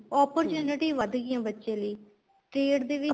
opportunity ਵੱਧ ਗਈ ਹੈ ਬੱਚੇ ਲਈ trade ਦੇ ਵਿੱਚ